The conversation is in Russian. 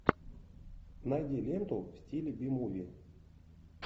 найди ленту в стиле би муви